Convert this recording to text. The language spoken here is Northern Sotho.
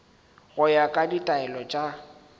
go ya ka ditaelo tša